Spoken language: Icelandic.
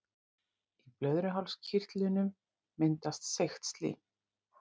Í blöðruhálskirtlinum myndast seigt slím.